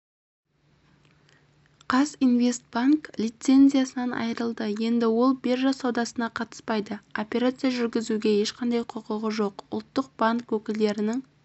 қазинвестбанк лицензиясынан айырылды енді ол биржа саудасына қатыспайды операция жүргізуге ешқандай құқығы жоқ ұлттық банк өкілдерінің